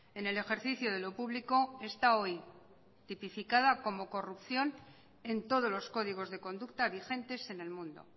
en el ejercicio de lo público está hoy tipificada como corrupción en todos los códigos de conducta vigentes en el mundo